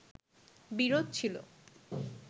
বিরোধ ছিলো